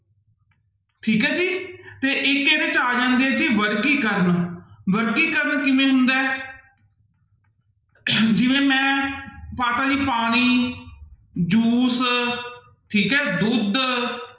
ਠੀਕ ਹੈ ਜੀ ਤੇ ਇੱਕ ਇਹਦੇ ਚ ਆ ਜਾਂਦੇ ਜੀ ਵਰਗੀਕਰਨ, ਵਰਗੀਕਰਨ ਕਿਵੇਂ ਹੁੰਦਾ ਹੈ ਜਿਵੇਂ ਮੈਂ ਪਾਤਾ ਜੀ ਪਾਣੀ juice ਠੀਕ ਹੈ, ਦੁੱਧ